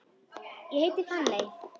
Ég heiti Fanney.